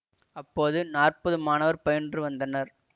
அப்போது நாற்பது மாணவர் பயின்று வந்தனர்